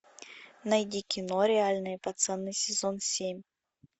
найди кино реальные пацаны сезон семь